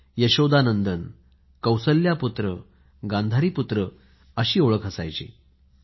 यशोदा पुत्र कौशल्य पुत्र गांधारी पुत्र अशीच ओळख असायची मुलाची